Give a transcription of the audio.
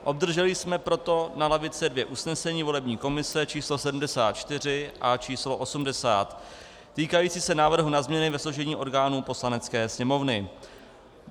Obdrželi jsme proto na lavice dvě usnesení volební komise číslo 74 a číslo 80, týkající se návrhu na změny ve složení orgánů Poslanecké sněmovny.